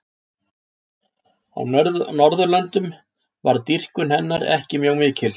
Á Norðurlöndum varð dýrkun hennar ekki mjög mikil.